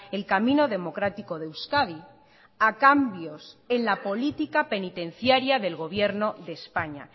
el camino democrático de euskadi a cambios en la política penitenciaria del gobierno de españa